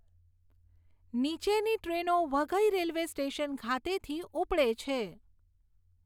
નીચેની ટ્રેનો Waghai railway station ખાતેથી ઉપડે છે